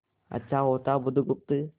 अच्छा होता बुधगुप्त